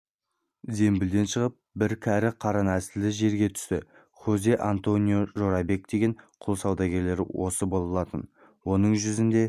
зембілден шығып бір кәрі қара нәсілді жерге түсті хозе-антонио жорабек деген құл саудагері осы болатын оның жүзінде